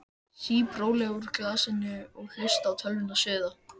Sýp rólega úr glasinu og hlusta á tölvuna suða.